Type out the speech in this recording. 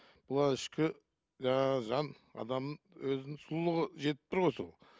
бұл ішкі жаңағы жан адамның өзінің сұлулығы жетіп тұр ғой сол